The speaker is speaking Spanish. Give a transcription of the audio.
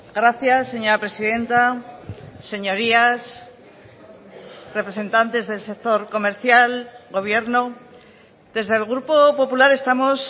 gracias señora presidenta señorías representantes del sector comercial gobierno desde el grupo popular estamos